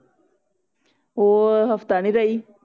ਉਹ ਹਫਤਾ ਨਹੀਂ ਰਹੀ